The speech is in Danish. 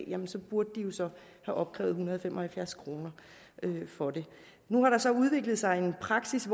en sag burde de jo så have opkrævet en hundrede og fem og halvfjerds kroner for det nu har der så udviklet sig den praksis